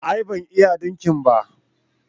a'a ban iya dinki ba